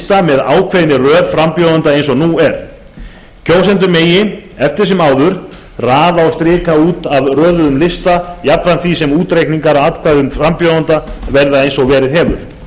með ákveðinni röð frambjóðenda eins og nú er kjósendur megi eftir sem áður raða og strika út af röðuðum listum jafnframt því sem útreikningar á atkvæðum frambjóðenda verði eins og verið hefur